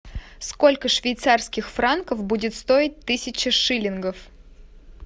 сколько швейцарских франков будет стоить тысяча шиллингов